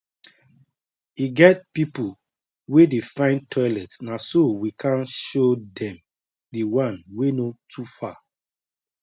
e get pipu wey dey find toilet na so we kan show dem the one wey no too far